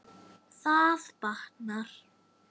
Það batnar.